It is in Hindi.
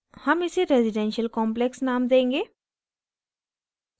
हम इसे residential complex name देंगे